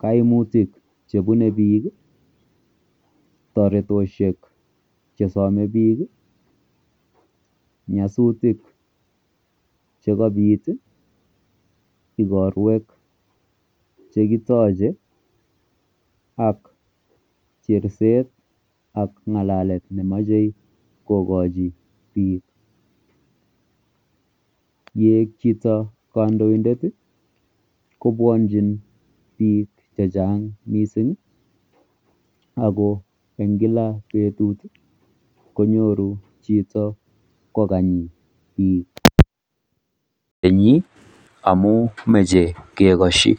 kaimutik checbebo bik ak rabisiek chesame bik ih ak nyasutik chekabit ih ak chersset ak ng'alalet nemoche kokochi bik yeek chito kandoited ih , kobwanchi bik chechang Ako en Kila betut ih konyoru chito kokany bik amun mache kekasyi